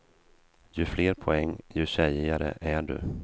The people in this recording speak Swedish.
Ju fler poäng, ju tjejigare är du.